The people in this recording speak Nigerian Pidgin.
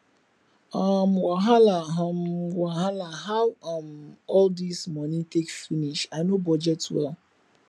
um wahala um wahala how um all this money take finish i no budget well